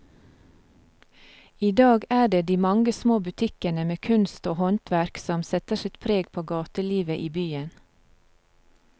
I dag er det de mange små butikkene med kunst og håndverk som setter sitt preg på gatelivet i byen.